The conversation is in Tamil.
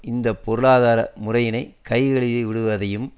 இந்த பொருளாதார முறையினை கை கழுவி விடுவதையும்